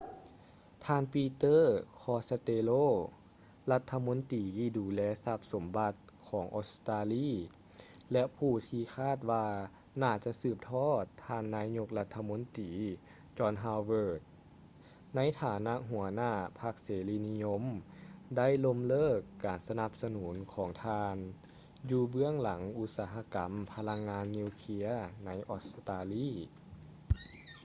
ທ່ານ ປີເຕີ ຄອດສະເຕໂລ peter costello ລັດຖະມົນຕີດູແລຊັບສົມບັດ ຂອງອົດສະຕາລີ ແລະ ຜູ້ທີ່ຄາດວ່າໜ້າຈະສືບທອດ ທ່ານນາຍົກລັດຖະມົນຕີ ຈອນ ຮາວເວີດ john howard ໃນຖານະຫົວໜ້າພັກເສລີນິຍົມ ໄດ້ລົ້ມເລີກການສະໜັບສະໜູນຂອງທ່ານ ຢູ່ເບື້ອງຫຼັງອຸດສະຫະກຳພະລັງງານນິວເຄຼຍໃນອົດສະຕາລີ